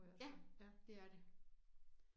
Ja det er det